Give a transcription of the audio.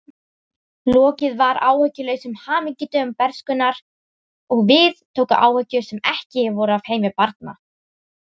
Lokið var áhyggjulausum hamingjudögum bernskunnar og við tóku áhyggjur sem ekki voru af heimi barna.